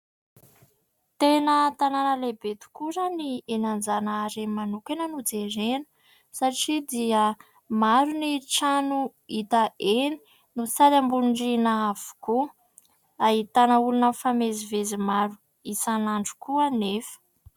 Tena tanàna lehibe tokoa raha ny eny Anjanahary manokana no jerena satria dia maro ny trano hita eny no samy ambony rihana avokoa, ahitana olona mifamezivezy maro isan'andro koa anefa.